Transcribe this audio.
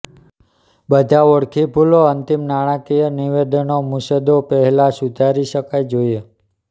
બધા ઓળખી ભૂલો અંતિમ નાણાકીય નિવેદનો મુસદ્દો પહેલાં સુધારી શકાય જોઈએ